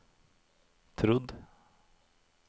trodd